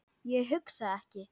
Ég hugsa ekki.